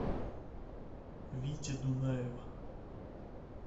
вити дунаева